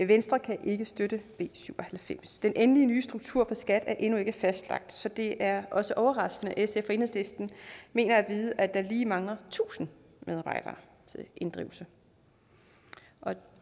venstre kan ikke støtte b syv og halvfems den endelige nye struktur for skat er endnu ikke fastlagt så det er også overraskende at sf og enhedslisten mener at vide at der lige mangler tusind medarbejdere til inddrivelse